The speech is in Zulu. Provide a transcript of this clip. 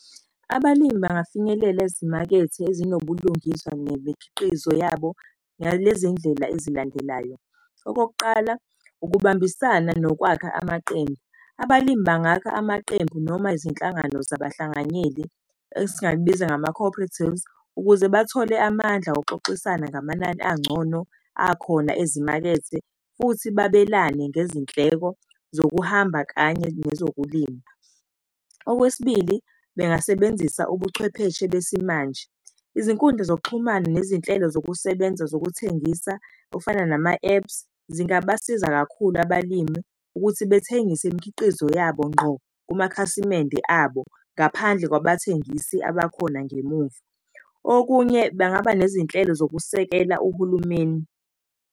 Abalimi bangafinyelela ezimakethe ezinobulungiswa nemikhiqizo yabo ngalezi ndlela ezilandelayo. Okokuqala, ukubambisana nokwakha amaqembu. Abalimi bangakha amaqembu noma izinhlangano zabahlanganyeli esingakubiza ngama-cooperatives, ukuze bathole amandla wokuxoxisana ngamanani angcono akhona ezimakethe, futhi babelane ngezindleko zokuhamba kanye nezokulima. Okwesibili, bengasebenzisa ubuchwepheshe besimanje. Izinkundla zokuxhumana nezinhlelo zokusebenza zokuthengisa okufana nama-apps, zingabasiza kakhulu abalimi ukuthi bethengisa imikhiqizo yabo ngqo kumakhasimende abo ngaphandle kwabathengisi abakhona ngemuva, okunye bangaba nezinhlelo zokusekela uhulumeni.